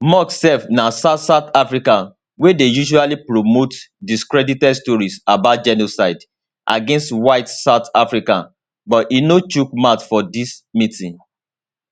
musk sef na south south african wey dey usually promote discredited stories about genocide against white south africans but e no chook mouth for dis meeting